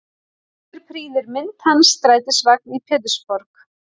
Hér prýðir mynd hans strætisvagn í Pétursborg.